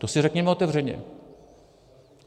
To si řekněme otevřeně.